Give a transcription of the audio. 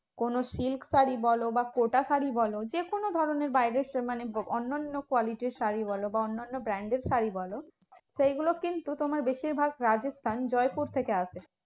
কোনো silk শাড়ী বলো বা কোটা শাড়ী বলো যেকোনো ধরণের বাইরের মানে অন্যান্য quality র শাড়ী বলো বা অন্যান্য branded এর শাড়ী বলো সেগুলো কিন্তু তোমার বেশিরভাগ রাজস্থান জয়পুর থেকে আসে।